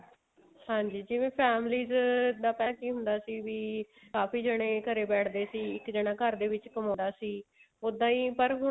ਹਾਂਜੀ ਜਿਵੇਂ families ਦਾ ਪਹਿਲਾਂ ਕੀ ਹੁੰਦਾ ਸੀ ਵੀ ਕਾਫੀ ਜਾਣੇ ਘਰੇ ਬੈਠਦੇ ਸੀ ਇੱਕ ਜਾਣਾ ਘਰ ਦੇ ਵਿੱਚ ਕਮਾਉਂਦਾ ਸੀ ਉੱਦਾਂ ਹੀ ਪਰ ਹੁਣ